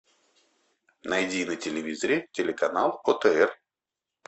найди на телевизоре телеканал отр